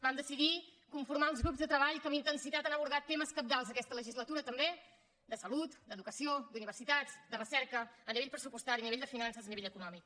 vam decidir conformar els grups de treball que amb intensitat han abordat temes cabdals aquesta legislatura també de salut d’educació d’universitats de recerca a nivell pressupostari a nivell de finances a nivell econòmic